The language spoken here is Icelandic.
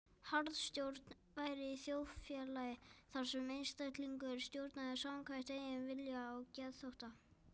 Harðstjórn væri í þjóðfélagi þar sem einstaklingur stjórnaði samkvæmt eigin vilja og geðþótta.